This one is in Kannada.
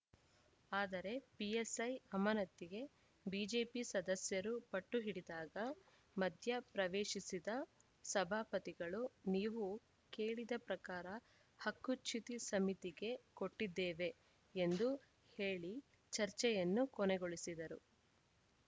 ಆದರೆ ಪಿಎಸ್‌ಐ ಅಮಾನತಿಗೆ ಬಿಜೆಪಿ ಸದಸ್ಯರು ಪಟ್ಟು ಹಿಡಿದಾಗ ಮಧ್ಯ ಪ್ರವೇಶಿಸಿದ ಸಭಾಪತಿಗಳು ನೀವು ಕೇಳಿದ ಪ್ರಕಾರ ಹಕ್ಕುಚ್ಯುತಿ ಸಮಿತಿಗೆ ಕೊಟ್ಟಿದ್ದೇವೆ ಎಂದು ಹೇಳಿ ಚರ್ಚೆಯನ್ನು ಕೊನೆಗೊಳಿಸಿದರು